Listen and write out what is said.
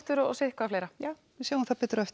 og sitthvað fleira sjáum það betur á eftir